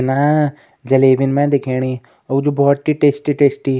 ना जलेबिन मै दिखेणी और जु वू भौत ही टेस्टी टेस्टी --